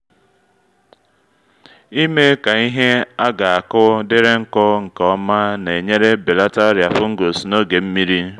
imee ka ihe a ga-akụ dịrị nkụ nke ọma na-enyere belata ọrịa fungus n’oge nmiri